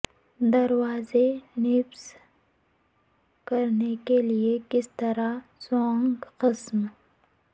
دروازے نصب کرنے کے لئے کس طرح سوئنگ قسم